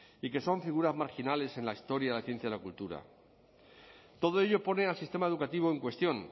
y que son figuras marginales en la historia de la ciencia y la cultura todo ello pone al sistema educativo en cuestión